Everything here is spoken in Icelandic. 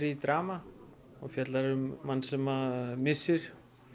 drama og fjallar um mann sem missir